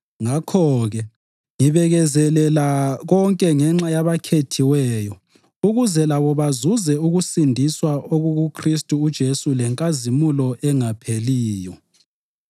Ngakho-ke, ngibekezelela konke ngenxa yabakhethiweyo ukuze labo bazuze ukusindiswa okukuKhristu uJesu lenkazimulo engapheliyo.